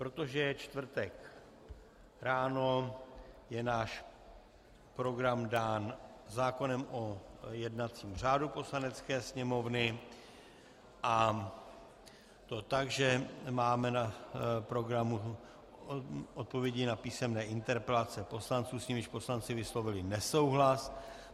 Protože je čtvrtek ráno, je náš program dán zákonem o jednacím řádu Poslanecké sněmovny, a to tak, že máme na programu odpovědi na písemné interpelace poslanců, s nimiž poslanci vyslovili nesouhlas.